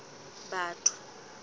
batho